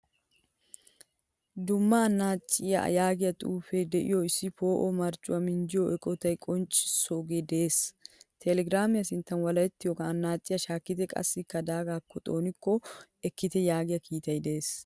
Dumma anaciyaa yaagiyaa xuufe deiyo issi po;o marccuwa minjjiyo eqqotta qonccisagee de'ees. Telegiramiyaa sinttan walahettiyogan annaciyaa shakkite qaasi daagakk xooniko ekkite yaagiyaa kiitay de'ees.